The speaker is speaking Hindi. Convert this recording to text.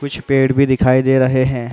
कुछ पेड़ भी दिखाई दे रहे हैं।